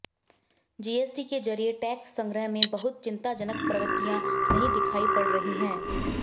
GST के जरिये tax संग्रह में बहुत चिंताजनक प्रवृत्तियां नहीं दिखायी पड़ रही हैं